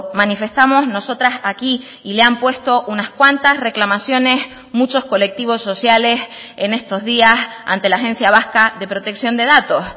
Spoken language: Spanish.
manifestamos nosotras aquí y le han puesto unas cuantas reclamaciones muchos colectivos sociales en estos días ante la agencia vasca de protección de datos